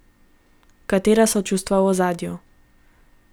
Katera so čustva v ozadju.